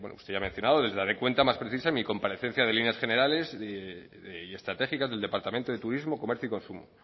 bueno usted ya ha mencionado le daré cuenta más precisa en mi comparecencia de líneas generales y estratégica del departamento de turismo comercio y consumo